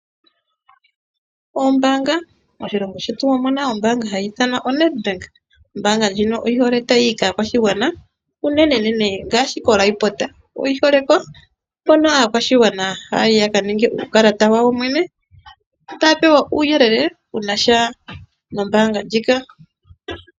Moshilongo shetu omuna ombaanga hayi ithanwa oNedbank. Ombaanga ndjino oyi hole tayi yi kaakwashigwana unenenene ngaashi koRehoboth oyi hole ko. Hono aakwashigwana haya yi ya ka ningwe uukalata wawo yene. Ta ya pewa uuyelele wuna sha nombaanga ndjika.